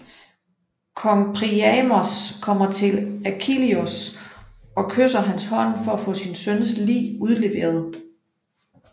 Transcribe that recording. Kong Priamos kommer til Achilleus og kysser hans hånd for at få sin søns lig udleveret